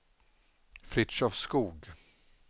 Fritiof Skoog